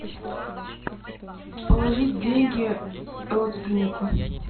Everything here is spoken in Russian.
положить деньги родственнику